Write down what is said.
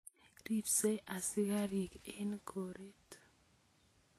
Ripsei asikarik eng' koret